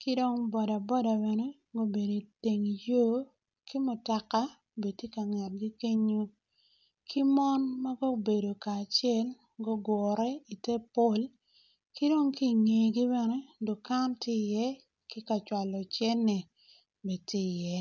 ki dong boda boda bene ma obedo iteng yor ki mutoka bene tye ka ngetgi kenyo ki mon ma gubedo kacel gugure i te pol ki dong ki ingegi bene dukan tye i iye ki kacwalo cente bene tye i ye.